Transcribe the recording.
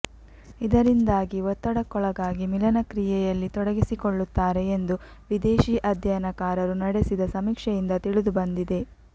ಇದರಿಂದಾಗಿ ಒತ್ತಡಕ್ಕೊಳಗಾಗಿ ಮಿಲನ ಕ್ರಿಯೆಯಲ್ಲಿ ತೊಡಗಿಸಿಕೊಳ್ಳುತ್ತಾರೆ ಎಂದು ವಿದೇಶೀ ಅಧ್ಯಯನಕಾರರು ನಡೆಸಿದ ಸಮೀಕ್ಷೆಯಿಂದ ತಿಳಿದುಬಂದಿದೆ